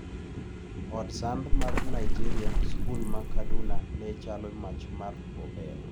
Od sand ma Nigeria: Skul ma Kaduna ne chalo' mach mar obel'.